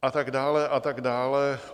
A tak dále a tak dále.